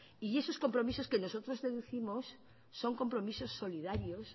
y esos compromisos que nosotros deducimos son compromisos solidarios